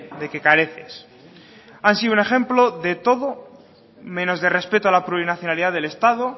de qué careces han sido un ejemplo de todo menos de respeto a la plurinacionalidad del estado